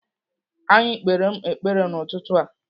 Anyị kpere m ekpere n'ụtụtụ a.